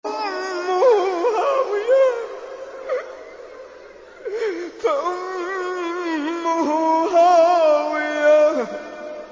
فَأُمُّهُ هَاوِيَةٌ